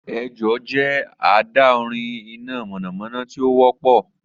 Ejò jẹ adaorin ina mọnamọna ti o wọpọ